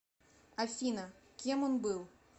афина кем он был